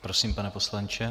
Prosím, pane poslanče.